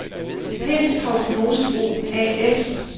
Pindstrup Mosebrug A/S